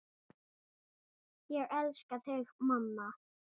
Ég elska þig, mamma.